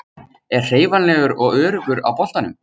Er hreyfanlegur og öruggur á boltanum.